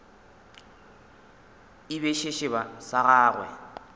e be sešeba sa gagwe